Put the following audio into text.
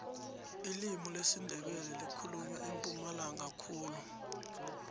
ilimi lesindebele likhulunywa empumalanga khulu